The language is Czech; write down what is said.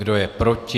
Kdo je proti?